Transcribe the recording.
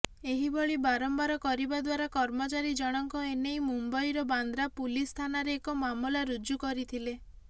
ଏହିଭଳି ବାରମ୍ବାର କରିବାଦ୍ୱାରା କର୍ମଚାରୀ ଜଣଙ୍କ ଏନେଇ ମୁମ୍ବଇର ବାନ୍ଦ୍ରା ପୁଲିସ ଥାନରେ ଏକ ମାମଲା ରୁଜୁ କରିଥିଲେ